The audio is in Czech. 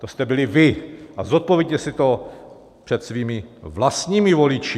To jste byli vy a zodpovězte si to před svými vlastními voliči.